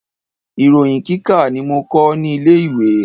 Ìròyin kíkà ni mo kọ́ ní ilé ìwé.